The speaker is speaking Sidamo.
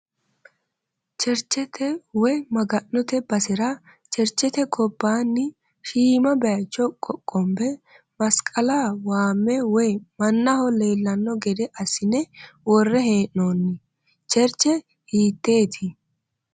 Cherchete woyi maga'note basera cherchete gobbaanni shiima bayicho qoqqombe masqala waamme woyi mannaho leellanno gede assine worre haa'noonni. Cherche hiitteeti?